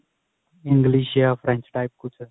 English ਜਾਂ French type ਕੁੱਝ